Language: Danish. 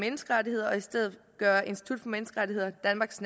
menneskerettigheder og i stedet gøre institut for menneskerettigheder danmarks